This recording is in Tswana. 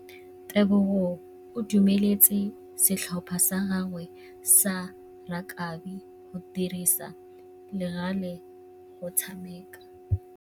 Tebogô o dumeletse setlhopha sa gagwe sa rakabi go dirisa le galê go tshameka.